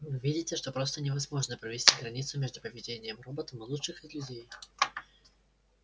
вы видите что просто невозможно провести границу между поведением роботом и лучшим из людей